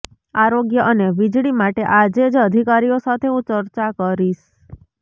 આરોગ્ય અને વીજળી માટે આજેજ અધિકારીઓ સાથે હું ચર્ચા કરીશ